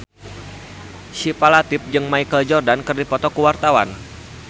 Syifa Latief jeung Michael Jordan keur dipoto ku wartawan